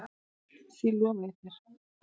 Því lofa ég þér